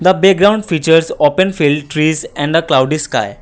the background features open field trees and the cloudy sky.